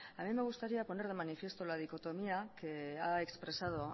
a mí me gustaría poner de manifiesto la dicotomía que ha expresado